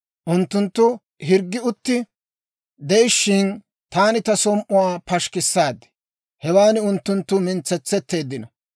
Unttunttu hirggi utti de'ishshin, taani ta som"uwaa pashikkissaad; hewan unttunttu mintsetsetteeddino.